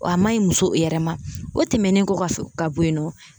Wa a ma ɲi muso yɛrɛ ma o tɛmɛnen ka kɔfɛ ka bɔ yen nɔ